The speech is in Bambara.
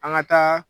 An ka taa